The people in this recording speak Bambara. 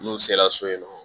N'u sera so yen nɔ